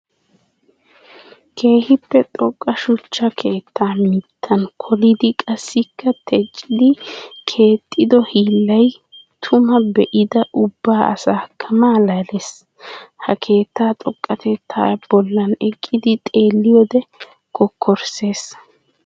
Keehippe xoqqa shuchcha keetta mittan koolidi qassikka teccidi keexxido hiillay tuma be'ida ubba asaakka malaales. Ha keetta xoqqatettay bollan eqqidi xeelliyode kokkorssees.